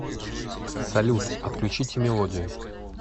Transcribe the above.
салют отключите мелодию